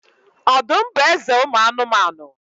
Ọdụm bụ eze ụmụ anụmanụ.